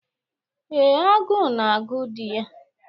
Ee, agụụ na-agụ di ya.